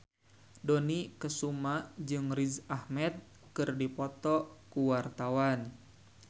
Dony Kesuma jeung Riz Ahmed keur dipoto ku wartawan